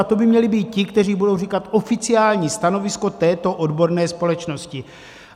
A to by měli být ti, kteří budou říkat oficiální stanovisko této odborné společnosti.